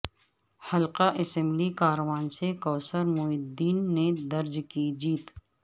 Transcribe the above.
حلقہ اسمبلی کاروان سے کوثر محی الدین نے درج کی جیت